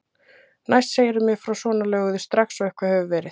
Næst segirðu mér frá svona löguðu strax og eitthvað hefur verið.